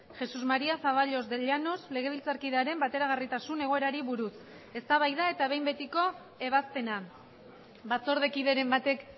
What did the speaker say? jesús maría zaballos de llanos legebiltzarkidearen bateragarritasun egoerari buruz eztabaida eta behin betiko ebazpena batzordekideren batek